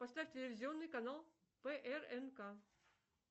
поставь телевизионный канал прнк